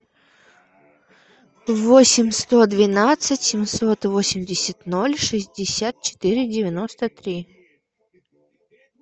восемь сто двенадцать семьсот восемьдесят ноль шестьдесят четыре девяносто три